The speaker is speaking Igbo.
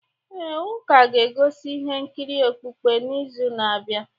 Ee, ụka ga-egosi ihe nkiri okpukpe n’izu na-abịa.